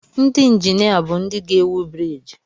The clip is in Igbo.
Ndị injinia bụ ndị ga-ewu briiji.